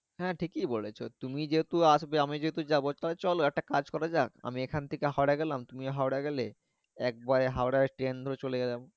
হ্যাঁ ঠিকই বলেছো তুমি যেহেতু আসবে আমি যেহেতু যাবো চলো একটা কাজ করা যাক আমি এখান থেকে হাওড়া গেলাম তুমি হাওড়া গেলে একবারে হাওড়ায় ট্রেন ধরে চলে গেলাম